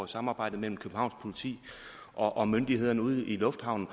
samarbejdet mellem københavns politi og myndighederne ude i lufthavnen